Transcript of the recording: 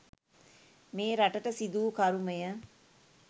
මේ රටට සිඳුවූ කරුමය.